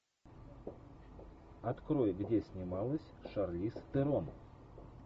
открой где снималась шарлиз терон